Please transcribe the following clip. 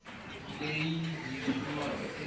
leyi hi yi kumaka eka